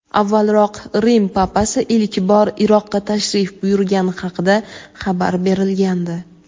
avvalroq Rim Papasi ilk bor Iroqqa tashrif buyurgani haqida xabar berilgandi.